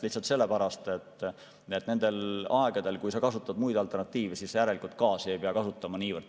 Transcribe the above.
Lihtsalt sellepärast, et nendel aegadel, kui sa kasutad muid alternatiive, gaasi ei pea nii palju kasutama.